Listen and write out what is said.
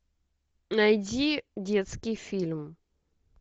найди детский фильм